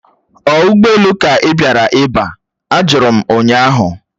Ọ ụgbọelu ka ị bịara iba? Ajụrụ m ụnyaahụ